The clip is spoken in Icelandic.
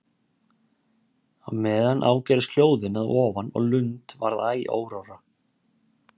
Á meðan ágerðust hljóðin að ofan og Lund varð æ órórra.